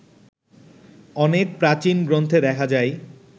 অনেক প্রাচীন গ্রন্থে দেখা যায়